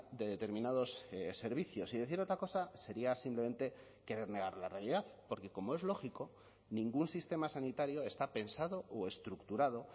de determinados servicios y decir otra cosa sería simplemente querer negar la realidad porque como es lógico ningún sistema sanitario está pensado o estructurado